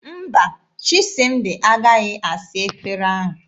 Mba, Chisịmdị agaghị asa efere ahụ.